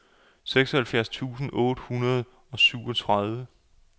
seksoghalvfjerds tusind otte hundrede og syvogtredive